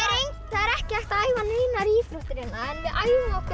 er ekki hægt að æfa neinar íþróttir hérna en við æfum okkur